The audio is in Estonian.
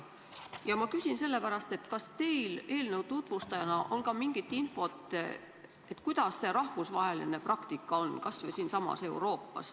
Ma küsin sellepärast, kas teil eelnõu tutvustajana on ka mingit infot, milline on selles valdkonnas rahvusvaheline praktika kas või siinsamas Euroopas.